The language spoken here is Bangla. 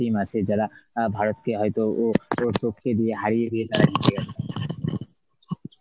বা team আছে যেমন অ্যাঁ ভারতকে হয়তো ও~ টো~ টপকে দিয়ে হারিয়ে দিয়ে তারা জিতে গেল